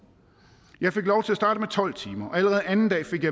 jeg fik lov til at starte med tolv timer og allerede anden dag fik